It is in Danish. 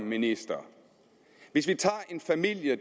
ministeren hvis vi tager en familie